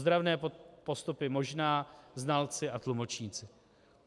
Ozdravné postupy možná, znalci a tlumočníci.